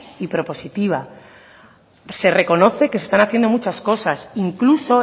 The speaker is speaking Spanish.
y propositiva se reconoce que se están haciendo muchas cosas incluso